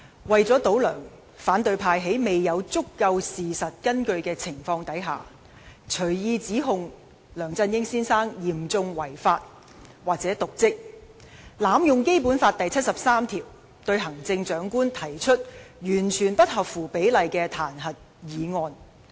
為了"倒梁"，反對派在未有足夠事實根據的情況下，隨意指控梁振英先生嚴重違法及/或瀆職；他們又濫用《基本法》第七十三條，對行政長官提出完全不合乎比例的彈劾議案。